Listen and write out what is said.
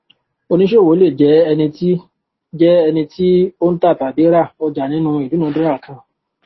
oníṣòwò le jẹ ẹni tí jẹ ẹni tí o n ta tàbí rá ọjà nínú idunadura kan